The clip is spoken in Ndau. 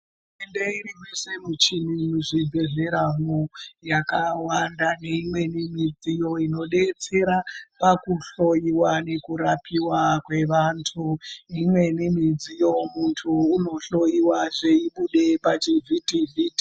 Ende irimeshe muchini muzvibhedhleramwo yakawanda neimweni midziyo inodetsera pakuhloiwa nekurapiwa kwevantu imweni midziyo muntu unohloiwa zveibude pachivhiti vhiti.